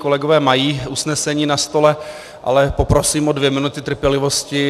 Kolegové mají usnesení na stole, ale poprosím o dvě minuty trpělivosti.